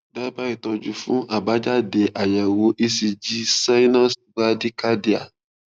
daba itọjú fun abajade fun ayewo ecg sinus brady cardia